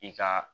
I ka